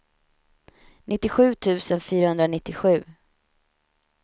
nittiosju tusen fyrahundranittiosju